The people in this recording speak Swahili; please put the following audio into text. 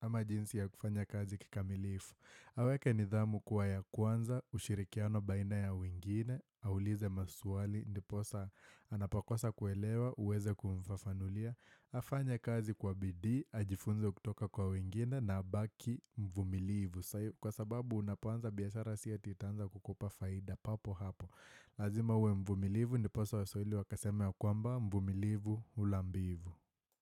ama jinsi ya kufanya kazi kikamilifu. Aweke nidhamu kua ya kwanza, ushirikiano baina ya wengine, aulize maswali, ndiposa anapakosa kuelewa, uweze kumfafanulia, afanye kazi kwa bidii, ajifunze kutoka kwa wengine na abaki mvumilivu. Kwa sababu unapoanza biashara si ati itaanza kukupa faida papo hapo Lazima uwe mvumilivu Ndiposa waswahili wakasema ya kwamba mvumilivu ula mbivu.